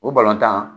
O balɔntan